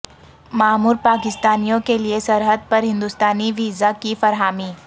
معمر پاکستانیوں کے لیے سرحد پر ہندوستانی ویزا کی فراہمی